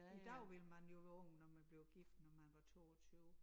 I dag ville man jo være ung når man bliver gift når man var 22